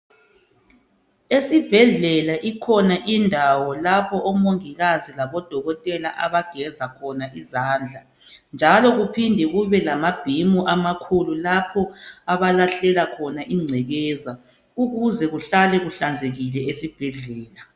Esibhedlela ikhona indawo lapho omongikazi abageza khona izandla ,njalo kuphinde kubekhona amabhimu amakhulu lapho okulahlelwa khona ingcekeza ukuze kuhlale kuhlanzekile esibhedlela.